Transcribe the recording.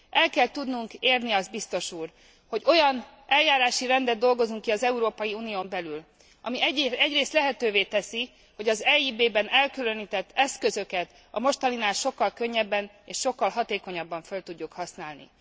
El kell tudnunk érni azt, biztos úr, hogy olyan eljárási rendet dolgozzunk ki az Európai Unión belül, ami egyrészt lehetővé teszi, hogy az EIB ben elkülönített eszközöket a mostaninál sokkal könnyebben és sokkal hatékonyabban föl tudjuk használni.